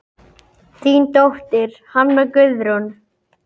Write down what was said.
Þín dóttir, Hanna Guðrún.